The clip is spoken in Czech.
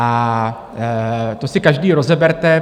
A to si každý rozeberte.